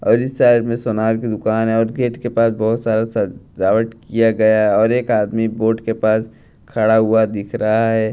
और इस शहर में सोनार की दुकान है और गेट के पास बहुत सारा सजावट किया गया और एक आदमी बोर्ड के पास खड़ा हुआ दिख रहा है।